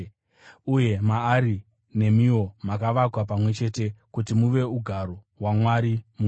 Uye maari nemiwo makavakwa pamwe chete kuti muve ugaro hwaMwari muMweya.